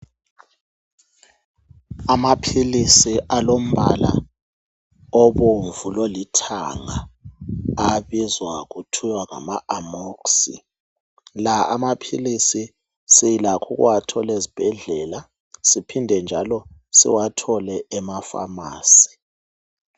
Amaphilisi alombala obomvu lolithanga abizwa kuthiwa ngama amoxicillin la amaphilisi silakho ukuwathola ezibhedlela siphinde njalo siwathole ema pharmacy .